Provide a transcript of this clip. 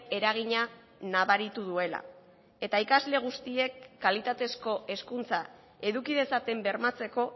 eragina nabaritu duela eta ikasle guztiek kalitatezko hezkuntza eduki dezaten bermatzeko